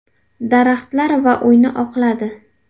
Daraxtlar va uyni oqladi.